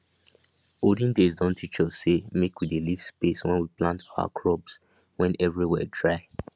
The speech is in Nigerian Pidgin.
olden days don teach us say make we dey leave space when we plant our crops when everywhere dry